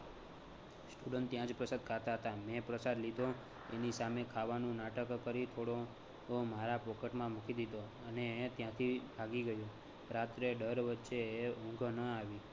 student ત્યાં જ પ્રસાદ ખાતા હતા. મેં પ્રસાદ લીધો એની સામે ખાવાનુ નાટક કરી થોડો મારા pocket માં મુકી દીધો હતો અને ત્યાંથી ભાગી ગયો. રાત્રે ડર વચ્ચે ઊંઘ ન આવી.